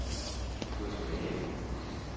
gå tilbage